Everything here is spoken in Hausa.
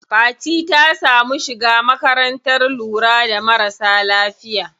Fati ta samu shiga makarantar lura da marasa lafiya.